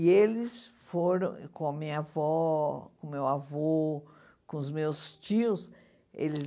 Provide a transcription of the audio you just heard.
E eles foram com a minha avó, com o meu avô, com os meus tios, eles...